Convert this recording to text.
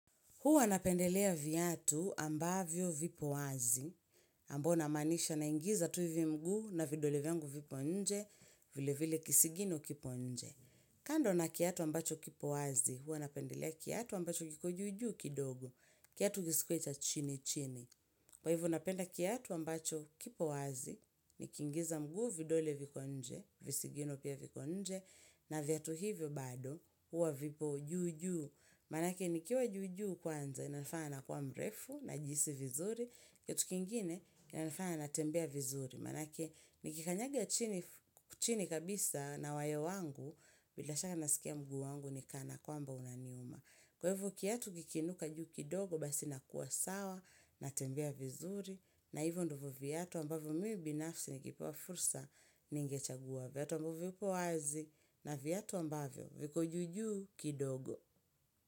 Huwa napendelea viatu ambavyo vipo wazi, ambao na manisha na ingiza tuivi mguu na vidole vyangu vipo nje, vile vile kisigino kipo nje. Kando na kiatu ambacho kipo wazi, huwa napendelea kiatu ambacho kiko juju kidogo, kiatu kisikuwecha chini chini. Kwa hivo napenda kiatu ambacho kipo wazi, nikingiza mguu vidole vipo nje, visigino pia vipo nje, na viatu hivyo bado, huwa vipo juu juu. Manake ni kiwa juju kwanza, inanifana nakuwa mrefu, najisi vizuri, yetu kingine inanifana natembea vizuri. Manake ni kikanyaga chini kabisa na wayo wangu, bila shaka nasikia mguu wangu ni kana kwamba unaniuma. Kwevu kiatu kikinuka juu kidogo basi nakuwa sawa, natembea vizuri, na hivo ndivo viyatu ambavyo mii binafsi nikipewa fursa ningechagua viyatu ambavyo vipo wazi na viyatu ambavyo viko jujuu kidogo.